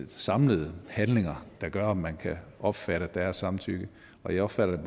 de samlede handlinger der gør om man kan opfatte at der er samtykke og jeg opfatter det